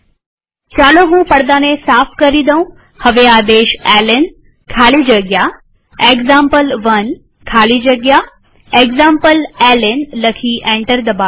ચાલો હું પડદાને સાફ કરી દઉંહવે આદેશ એલએન ખાલી જગ્યા એક્ઝામ્પલ1 ખાલી જગ્યા એક્ઝામ્પલેલ્ન લખી એન્ટર દબાવીએ